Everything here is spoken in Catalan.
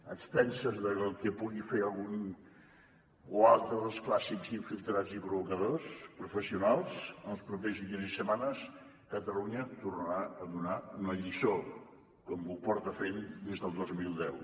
a expenses del que pugui fer algun o altre dels clàssics infiltrats i provocadors professionals en els propers dies i setmanes catalunya tornarà a donar una lliçó com ho porta fent des del dos mil deu